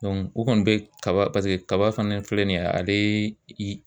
u kɔni bɛ kaba paseke kaba fana filɛ nin ye ale